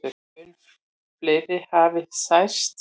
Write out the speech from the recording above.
Mun fleiri hafi særst.